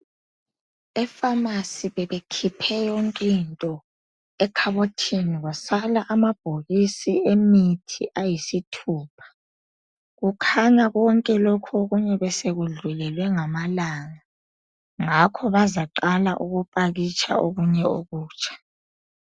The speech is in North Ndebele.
Epharmacy bebekhiphe yonkinto ekhabothini kwasala amabhokisi emithi ayisithupha. Kukhanya konke lokho okunye besekudlulelwe ngamalanga ngakho bazaqala ukupakitsha okunye okutsha